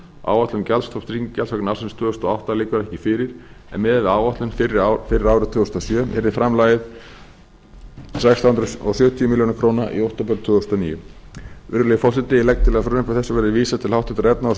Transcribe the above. áætlun gjaldstofns tryggingagjalds vegna ársins tvö þúsund og átta liggur ekki fyrir en miðað við áætlun fyrir árið tvö þúsund og sjö yrði framlagið um sextán hundruð sjötíu milljónum króna í október tvö þúsund og níu virðulegi forseti ég legg til að frumvarpi þessu verði vísað til háttvirtrar efnahags og